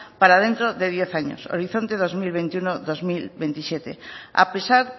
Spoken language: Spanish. para dentro de diez años horizonte dos mil veintiuno dos mil veintisiete a pesar